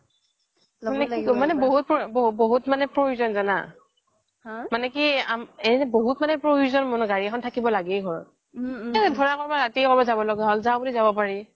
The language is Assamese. মানে বহুত প্ৰয়োজন জানা মানে বহুত প্ৰয়োজন ঘৰত থাকিবয়ে লাগে গাড়ী এখন যাও বুলি যাব পাৰি